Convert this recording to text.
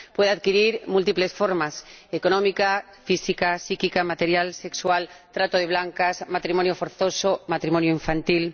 Puede adquirir múltiples formas económica, física, psíquica, material, sexual, trata de blancas, matrimonio forzoso, matrimonio infantil...